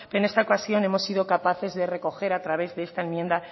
pero en esta ocasión hemos sido capaces de recoger a través de esta enmienda